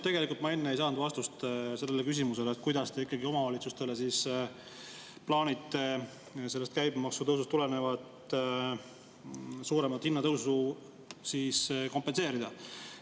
Tegelikult ma enne ei saanud vastust küsimusele, kuidas te ikkagi omavalitsustele plaanite sellest käibemaksutõusust tulenevat suuremat hinnatõusu kompenseerida.